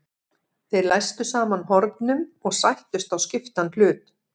Þeir læstu saman hornum og sættust á skiptan hlut.